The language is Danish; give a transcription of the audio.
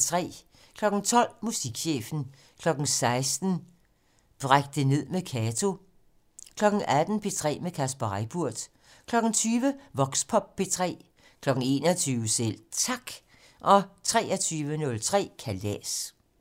12:00: Musikchefen 16:00: Bræk det ned med Kato 18:00: P3 med Kasper Reippurt 20:00: Voxpop P3 21:00: Selv Tak 23:03: Kalas